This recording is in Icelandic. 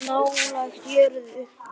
Nálægt jörðu